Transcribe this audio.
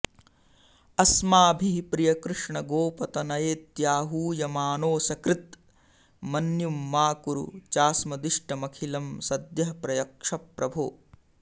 अस्माभिः प्रिय कृष्ण गोपतनयेत्याहूयमानोऽसकृत् मन्युं मा कुरु चास्मदिष्टमखिलं सद्यः प्रयच्छ प्रभो